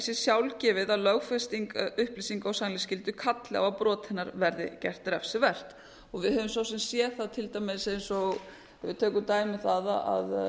sé sjálfgefið að lögfesting upplýsinga og sannleiksskyldu kalli á að brot hennar verði gert refsivert við höfum svo sem séð það til dæmis eins og við tökum dæmi um það að